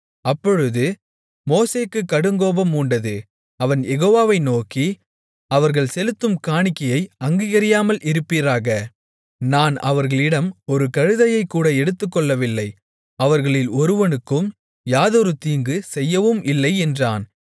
அப்பொழுது மோசேக்குக் கடுங்கோபம் மூண்டது அவன் யெகோவாவை நோக்கி அவர்கள் செலுத்தும் காணிக்கையை அங்கீகரியாமல் இருப்பீராக நான் அவர்களிடம் ஒரு கழுதையைக் கூட எடுத்துக்கொள்ளவில்லை அவர்களில் ஒருவனுக்கும் யாதொரு தீங்கு செய்யவும் இல்லை என்றான்